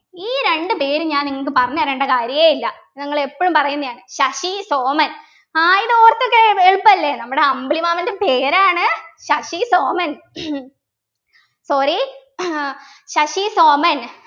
ഈ രണ്ട് പേര് ഞാൻ നിങ്ങൾക്ക് പറഞ്ഞു തരേണ്ട കാര്യേ ഇല്ല നിങ്ങൾ എപ്പോഴും പറയുന്നതാണ് ശശി സോമൻ ആഹ് ഇതോർത്ത് വെക്കാൻ എ എളുപ്പല്ലേ നമ്മുടെ അമ്പിളിമാമൻ്റെ പേരാണ് ശശി സോമൻ sorry ശശി സോമൻ